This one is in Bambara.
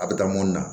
A bɛ taa mun na